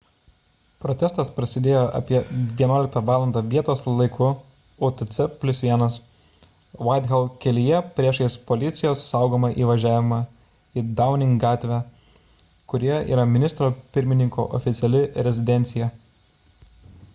protestas prasidėjo apie 11 val. vietos laiku utc+1 whitehall kelyje priešais policijos saugomą įvažiavimą į downing gatvę kurioje yra ministro pirmininko oficiali rezidencija